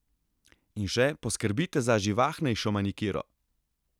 In še, poskrbite za živahnejšo manikiro!